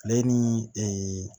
Ale ni ee